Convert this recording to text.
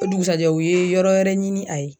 O dugusajɛ u ye yɔrɔ wɛrɛ ɲini a ye.